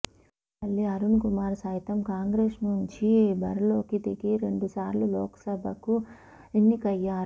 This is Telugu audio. ఉండవల్లి అరుణ్ కుమార్ సైతం కాంగ్రెస్ నుంచి బరిలోకి దిగి రెండు సార్లు లోక్సభకు ఎన్నికయ్యారు